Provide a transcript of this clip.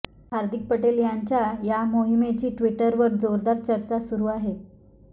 हार्दिक पटेल यांच्या या मोहिमेची ट्विटरवर जोरदार चर्चा सुरु आहे